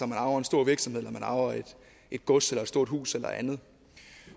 man arver en stor virksomhed man arver et gods eller et stort hus eller andet